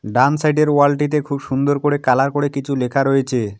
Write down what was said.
ডান side -এর wall -টিতে খুব সুন্দর করে কালার করে কিছু লেখা রয়েছে।